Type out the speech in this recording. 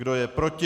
Kdo je proti?